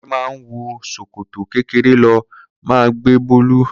Kunle má ń wọ sòkòtò kékeré ló máa ń gbé bọ̀ọ̀lù